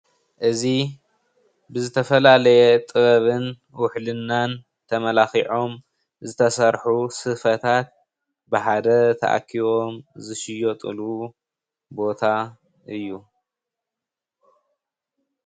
እዚ ብዝተፈላለየ ጥበብን ውሕልናን ተመላኪዖም ዝተሰርሑ ስፈታት ብሓደ ተኣኪቦም ዝሽየጥሉ ቦታ እዩ::